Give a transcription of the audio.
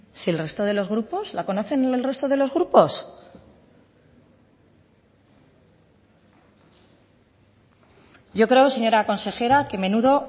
si el resto de los grupos la conocen el resto de los grupos yo creo señora consejera que menudo